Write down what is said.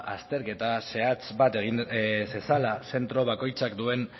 ba azterketa zehatz bat egin zezala zentro bakoitzak duen